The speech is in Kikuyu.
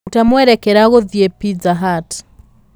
rũta mwerekera gũthiĩ pizza hut